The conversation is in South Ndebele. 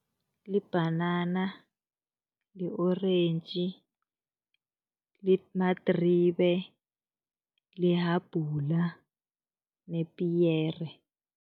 Libhanana, li-orentji, madribe, lihabhula nepiyere.